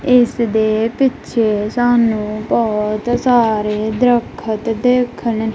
ਇਸ ਦੇ ਪਿੱਛੇ ਸਾਨੂੰ ਬਹੁਤ ਸਾਰੇ ਦਰਖਤ ਦੇਖਣ--